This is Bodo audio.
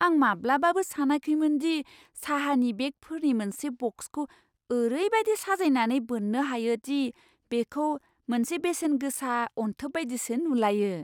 आं माब्लाबाबो सानाखैमोन दि साहानि बेगफोरनि मोनसे बक्सखौ ओरैबायदि साजायनानै बोननो हायो दि बेखौ मोनसे बेसेन गोसा अनथोब बायदिसो नुलायो!